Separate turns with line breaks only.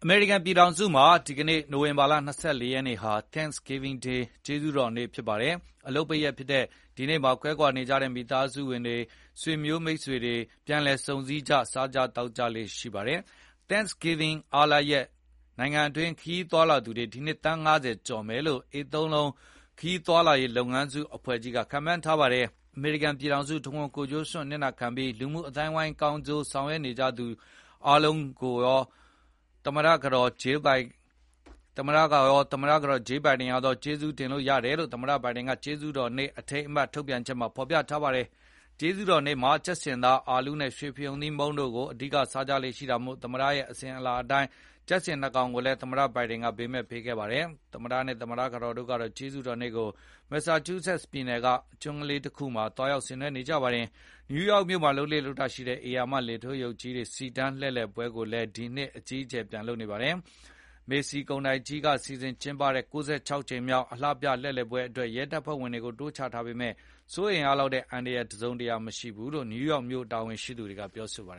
မေရိကန်ပြည်ထောင်စုမှာ ဒီနေ့ နိုဝင်ဘာလ ၂၄ ရက်နေ့ဟာ Thanksgiving ကျေးဇူးတော်နေ့ဖြစ်ပါတယ်။ အလုပ်ပိတ်ရက်ဖြစ်တဲ့ ဒီနေ့မှာ ကွဲကွာနေကြတဲ့ မိသားစုဝင်တွေ၊ ဆွေမျိုးမိတ်ဆွေတွေ၊ ပြန်လည်ဆုံစည်းကြ၊ စားကြသောက်ကြလေ့ရှိပါတယ်။ Thanksgiving အားလပ်ရက် နိုင်ငံတွင်း ခရီးသွားလာသူတွေ ဒီနှစ် သန်း ၅၀ ကျော်မယ်လို့ AAA ခရီးသွားလာရေးလုပ်ငန်းစုအဖွဲ့ကြီးက ခန့်မှန်းထားပါတယ်။ အမေရိကန်ပြည်ထောင်စုတဝန်း ကိုယ်ကျိုးစွန့်အနစ်နာခံပြီး လူမှုအသိုင်းအဝန်းတွေကောင်းကျိုးဆောင်ရွက်နေကြသူအားလုံးကို သူရော သမ္မတကတော် Jill Biden ရောက ကျေးဇူးတင်တယ်လို့ သမ္မတ Biden က ကျေးဇူးတော်နေ့ အထိမ်းအမှတ်ထုတ်ပြန်ချက်မှာ ဖော်ပြထားပါတယ်။ ကျေးဇူးတော်နေ့မှာ ကြက်ဆင်သား၊ အာလူးနဲ့ ရွှေဖရုံသီးမုန့်တို့ကို အဓိကစားကြလေ့ရှိတာမို့ သမ္မတတွေရဲ့အစဉ်အလာအတိုင်း ကြက်ဆင် ၂ ကောင်ကိုလည်း သမ္မတ Biden ဘေးမဲ့ပေးခဲ့ပါတယ်။ သမ္မတနဲ့သမ္မတကတော်တို့ကတော့ ကျေးဇူးတော်နေ့ကို Massachusetts ပြည်နယ်က Nantucket ကျွန်းလေးမှာ သွားရောက်ဆင်နွဲနေကြပါတယ်။ New York မြို့မှာ လုပ်လေ့ရှိတဲ့ ဧရာမ လေထိုးရုပ်ကြီးတွေ စီတန်းလှည့်လည်ပွဲကိုလည်း ဒီနှစ်အကြီးအကျယ် ပြန်လုပ်နေပါတယ်။ Macy's ကုန်တိုက်ကြီးက စီစဉ် ကျင်းပတဲ့ ၉၆ ကြိမ်မြောက် အလှပြ လှည့်လည်ပွဲအတွက် ရဲတပ်ဖွဲ့ဝင်တွေကို တိုးချထားပေမဲ့ စိုးရိမ်ရလောက်တဲ့ အန္တရာယ်တစုံတရာမရှိဘူးလို့ N. Y မြို့တာဝန်ရှိသူတွေက ပြောပါတ